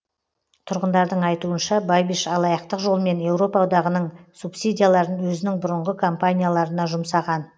тұрғындардың айтуынша бабиш алаяқтық жолмен еуропа одағының субсидияларын өзінің бұрынғы компанияларына жұмсаған